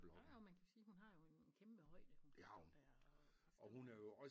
Jo jo man kan jo sige hun har jo en kæmpe højde hun kan stå der og